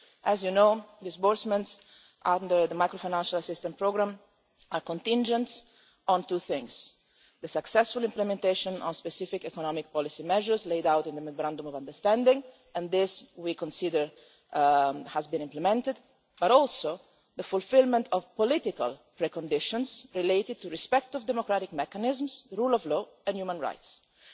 As you know, disbursements under the macro-financial assistance programme are contingent on two things not only the successful implementation of specific economic policy measures laid out in the memorandum of understanding and we consider that these have been implemented but also the fulfilment of political preconditions related to respect for democratic mechanisms, the rule of law and human rights. Following